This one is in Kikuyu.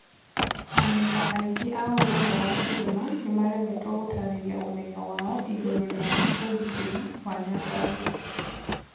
Amemba aingĩ a ũrũmwe wa kĩrĩma nĩmaremetwo gũtarĩria ũmenyo wao ĩgũrũ rĩa ũgitĩri wa Nyandarua.